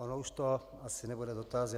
On už to asi nebude dotaz.